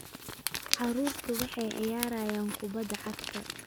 Carruurtu waxay ciyaarayaan kubbadda cagta